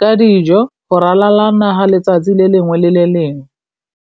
ka dijo go ralala naga letsatsi le lengwe le le lengwe.